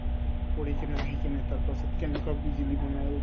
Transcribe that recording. পঢ়ি কিনে আহি কিনে তাৰপাছত কেনেকুৱা বিজুলী বনাই